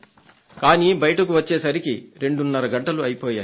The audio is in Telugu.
కానీ బయటకు వచ్చేసరికి రెండున్నర గంటలు అయిపోయాయి